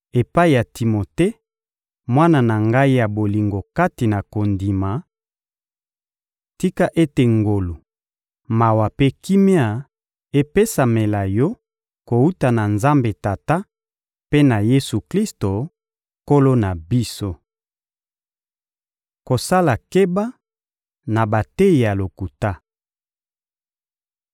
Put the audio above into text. Epai ya Timote, mwana na ngai ya bolingo kati na kondima: Tika ete ngolu, mawa mpe kimia epesamela yo kowuta na Nzambe Tata mpe na Yesu-Klisto, Nkolo na biso! Kosala keba na bateyi ya lokuta